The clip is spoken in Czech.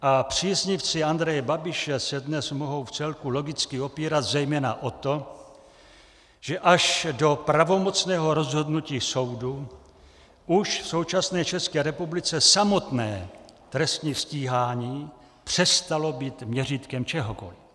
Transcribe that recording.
A příznivci Andreje Babiše se dnes mohou vcelku logicky opírat zejména o to, že až do pravomocného rozhodnutí soudu už v současné České republice samotné trestní stíhání přestalo být měřítkem čehokoli.